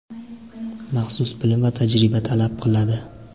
maxsus bilim va tajriba talab qiladi.